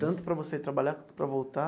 Tanto para você ir trabalhar quanto para voltar?